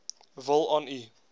wil aan u